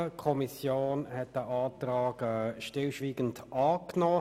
Die Kommission hat diesen Antrag stillschweigend angenommen.